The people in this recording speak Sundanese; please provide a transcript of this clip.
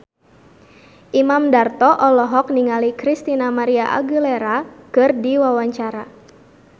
Imam Darto olohok ningali Christina María Aguilera keur diwawancara